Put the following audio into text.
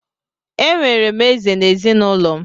Enwere m Eze na ezinụlọ m.